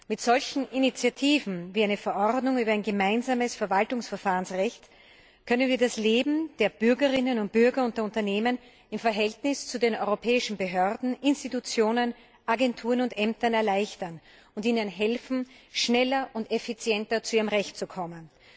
Mit solchen Initiativen wie einer Verordnung über ein gemeinsames Verwaltungsverfahrensrecht können wir das Leben der Bürgerinnen und Bürger und der Unternehmen im Verhältnis zu den europäischen Behörden, Institutionen, Agenturen und Ämtern erleichtern und ihnen helfen, schneller und effizienter zu ihrem Recht zu kommen.